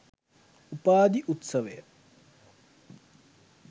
උපාධි උත්සවය